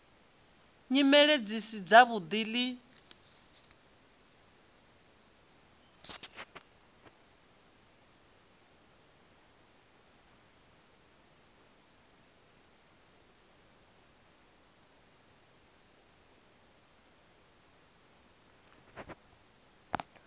nyimele dzi si dzavhuḓi ḽi